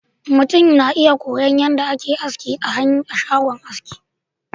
mutum na iya koyon yadda ake aski a shagon shagon aski